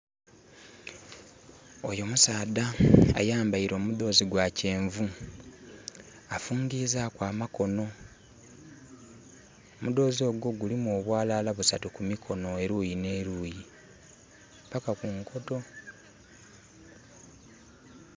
Oyo musaadha ayambaire omudoozi gwa kyenvu afungizaku amakoono. Omudoozi ogwo guliku obwalala busaatu kuluyi ne luyi paka ku nkoto